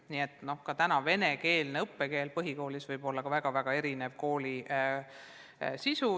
Nii et ka tänases venekeelse õppekeelega põhikoolis võib olla ka väga-väga erinev õppe sisu.